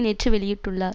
நேற்று வெளியிட்டுள்ளார்